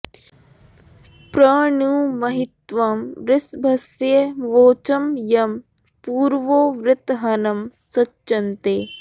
प्र नू महित्वं वृषभस्य वोचं यं पूरवो वृत्रहणं सचन्ते